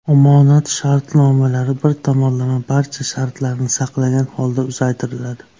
Omonat shartnomalari bir tomonlama barcha shartlarni saqlagan holda uzaytiriladi.